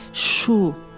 Şu.